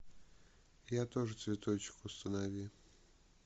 я тоже цветочек установи